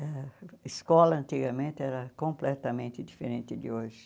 A escola antigamente era completamente diferente de hoje.